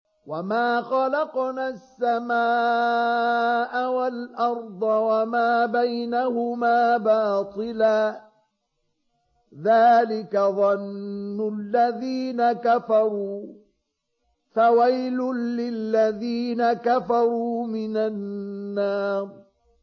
وَمَا خَلَقْنَا السَّمَاءَ وَالْأَرْضَ وَمَا بَيْنَهُمَا بَاطِلًا ۚ ذَٰلِكَ ظَنُّ الَّذِينَ كَفَرُوا ۚ فَوَيْلٌ لِّلَّذِينَ كَفَرُوا مِنَ النَّارِ